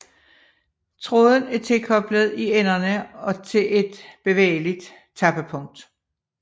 Tråden er tilkoblet i enderne og til et bevægeligt tappepunkt